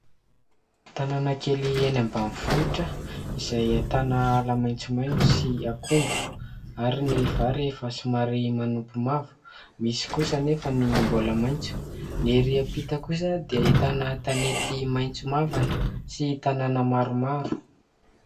Tanàna kely eny ambain'ny vohitra izay ahitana ala maintsomaintso sy akondro ary ny vary efa somary manompo mavo, misy kosa anefa ny mbola maintso. Ny ery ampita kosa dia ahitana tanety maintso mavana sy tanàna maromaro.